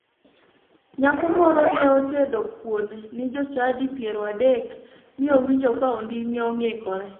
Nyako moro ne otedo kuon ni jochadi piero adek mi owinjo ka onding'e ong'ikore.